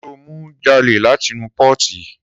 Sọ mú jàlẹ làtínú pọti?